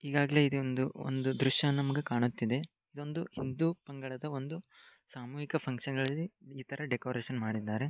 ಈಗಾಗಲೇ ನಮಗೆ ಒಂದು ದೃಶ್ಯವನ್ನು ಕಾಣುತ್ತಿದೆ ಇದೊಂದು ಹಿಂದೂ ಪಂಗಡದ ಸಾಮೂಹಿಕ ಕಾರ್ಯಕ್ರಮಕ್ಕೆ ಡೆಕೋರೇಷನ್ ಮಾಡಿದ್ದಾರೆ